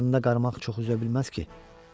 Qarnında qarmaq çox üzə bilməz ki.